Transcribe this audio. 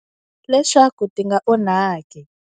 Leswaku ti nga onhaki.